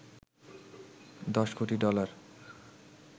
দশ কোটি ডলার